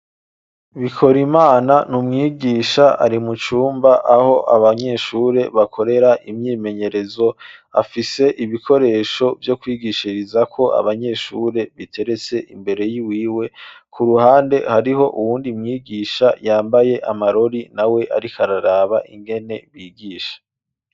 Bikorimana ni umwigisha ari mu cumba aho abanyeshure bakorera imyimenyerezo afise ibikoresho byo kwigishiriza ko abanyeshure biteretse imbere y'iwiwe ku ruhande hariho uwundi mwigisha yambaye amarori na we ari kararaba ingene bigisha.